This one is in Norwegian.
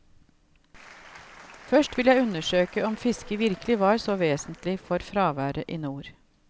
Først vil jeg undersøke om fisket virkelig var så vesentlig for fraværet i nord.